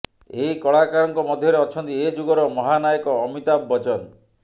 ଏହି କଳାକାରଙ୍କ ମଧ୍ୟରେ ଅଛନ୍ତି ଏ ଯୁଗର ମହାନାୟକ ଅମତାଭ ବଚ୍ଚନ